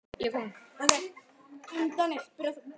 Einatt fer úr iðrum greitt.